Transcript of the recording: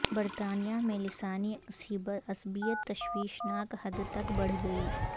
برطانیہ میں لسانی عصبیت تشویشناک حد تک بڑھ گئی